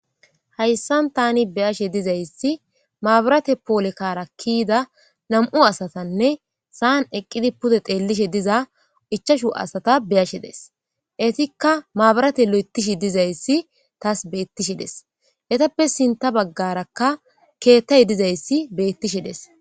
Haysan tani be'ashe dizaysi mabirate poole kaara kiida na''mu asatane garsan eqqidi pude xelishe diza ichchashu asata beayda daysi. Etika mabrate loo'tishe dizaysi tas betishe dees. Etape sinta bagaraka keeththay dizaysi betishe dees.